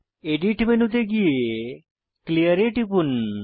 edit মেনুতে গিয়ে clear এ টিপুন